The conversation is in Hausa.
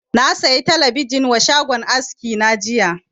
Na saya talabijin wa shagon aski na jiya